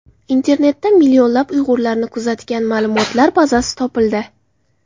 Internetda millionlab uyg‘urlarni kuzatgan ma’lumotlar bazasi topildi.